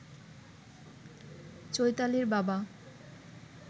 চৈতালির বাবা